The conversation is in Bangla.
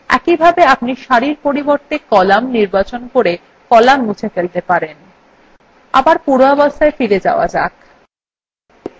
একইভাবে আপনি সারির পরিবর্তে কলাম নির্বাচন করে কলাম মুছে ফেলতে পারেন আবার পূর্বাবস্থায় ফিরে যাওয়া যাক